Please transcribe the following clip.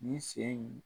Ni sen in